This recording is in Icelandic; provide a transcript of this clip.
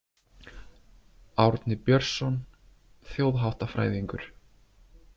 Árni Björnsson þjóðháttafræðingur.